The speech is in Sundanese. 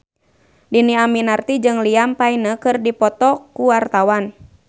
Dhini Aminarti jeung Liam Payne keur dipoto ku wartawan